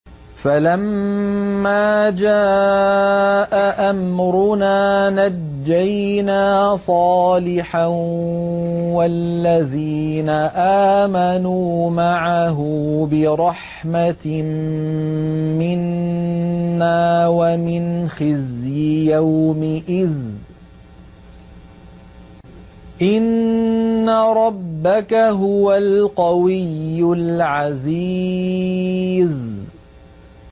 فَلَمَّا جَاءَ أَمْرُنَا نَجَّيْنَا صَالِحًا وَالَّذِينَ آمَنُوا مَعَهُ بِرَحْمَةٍ مِّنَّا وَمِنْ خِزْيِ يَوْمِئِذٍ ۗ إِنَّ رَبَّكَ هُوَ الْقَوِيُّ الْعَزِيزُ